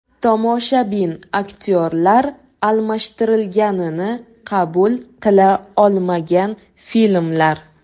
Tomoshabin aktyorlar almashtirilganini qabul qila olmagan filmlar.